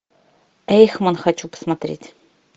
эйхман хочу посмотреть